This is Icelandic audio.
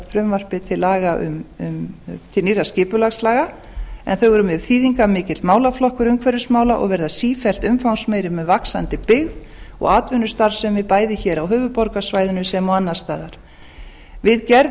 frumvarpi til nýrra skipulagslaga en þau eru mjög þýðingarmikill málaflokkur umhverfismála og verða sífellt umfangsmeiri með vaxandi byggð og atvinnustarfsemi bæði hér á höfuðborgarsvæðinu sem og annars staðar við gerð